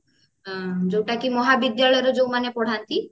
ଯୋଉଟା କି ମହାବିଦ୍ୟାଳୟରେ ଯୋଉମାନେ ପଢାନ୍ତି